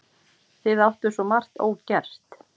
Þið áttuð svo margt ógert.